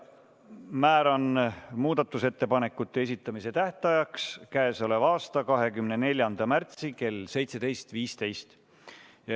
Määran muudatusettepanekute esitamise tähtajaks k.a 24. märtsi kell 17.15.